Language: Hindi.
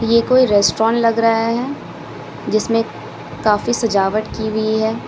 ये कोई रेस्टोरेंट लग रहा है जिसमें काफी सजावट की हुई है।